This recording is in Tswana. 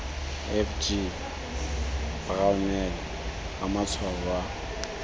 f g brownell ramatshwao wa